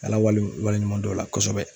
Ala wale wale ɲuman dɔn o la kosɛbɛ